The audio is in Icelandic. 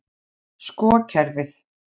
Sko kerfið.